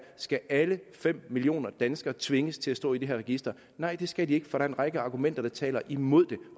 skal alle fem millioner danskere tvinges til at stå i det her register nej det skal de ikke for der er en række argumenter der taler imod det